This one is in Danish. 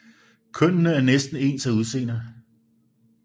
Kønnene er næsten ens af udseende